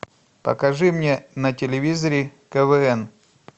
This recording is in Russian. покажи мне на телевизоре квн